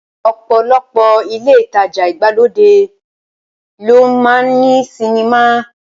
Ọ̀pọ̀lọpọ̀ ilé ìtajà ìgbàlódé ló máa ń ní sinimá